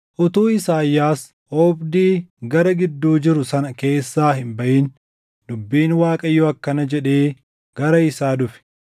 Utuu Isaayyaas oobdii gara gidduu jiru sana keessaa hin baʼin dubbiin Waaqayyoo akkana jedhee gara isaa dhufe;